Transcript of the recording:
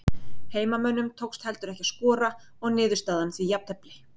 Heimamönnum tókst heldur ekki að skora og niðurstaðan því jafntefli.